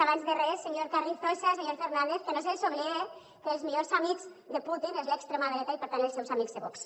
abans de res senyor carrizosa senyor fernández que no se’ls oblide que els millors amics de putin és l’extrema dreta i per tant els seus amics de vox